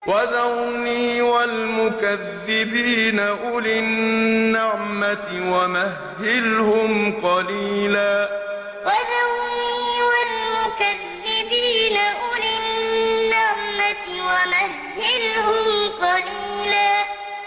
وَذَرْنِي وَالْمُكَذِّبِينَ أُولِي النَّعْمَةِ وَمَهِّلْهُمْ قَلِيلًا وَذَرْنِي وَالْمُكَذِّبِينَ أُولِي النَّعْمَةِ وَمَهِّلْهُمْ قَلِيلًا